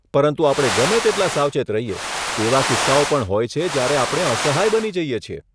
પરંતુ આપણે ગમે તેટલા સાવચેત રહીએ, એવા કિસ્સાઓ પણ હોય છે જ્યારે આપણે અસહાય બની જઈએ છીએ.